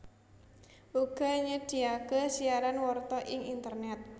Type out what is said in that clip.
uga nyedyaké siaran warta ing internèt